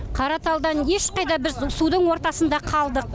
қараталдан ешқайда біз судың ортасында қалдық